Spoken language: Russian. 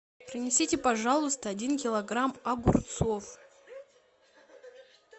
принесите пожалуйста один килограмм огурцов